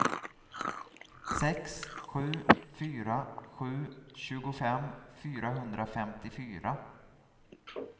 sex sju fyra sju tjugofem fyrahundrafemtiofyra